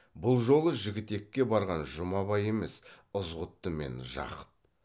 бұл жолы жігітекке барған жұмабай емес ызғұтты мен жақып